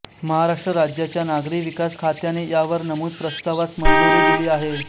महाराष्ट्र राज्याच्या नागरी विकास खात्याने या वर नमूद प्रस्तावास मंजूरी दिली आहे